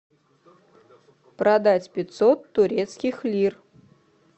продать пятьсот турецких лир